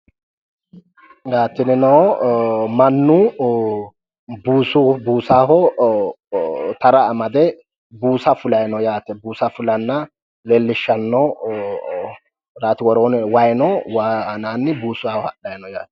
Tinino mannu buusaho tara amade buusa fulayi no yaate buusa fulanna leellishshanno rati woroonni wayi no wayi anaanni buusaho hadhayi no yaate